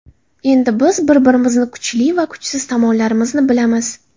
Endi biz bir-birimizni, kuchli va kuchsiz tomonlarimizni bilamiz.